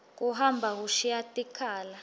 kuhamba kushiya tikhala